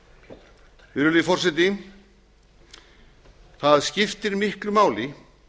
augu við virðulegi forseti það skiptir miklu máli